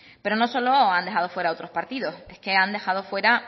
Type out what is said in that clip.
pero no solo han dejado fuera a otros partidos es que han dejado fuera